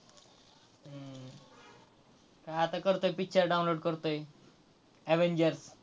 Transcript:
काय आता picture download करतोय. Avenger